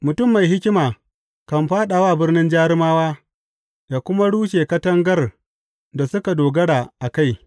Mutum mai hikima kan fāɗa wa birnin jarumawa ya kuma rushe katangar da suka dogara a kai.